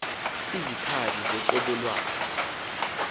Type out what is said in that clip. kakuhle kub ihlab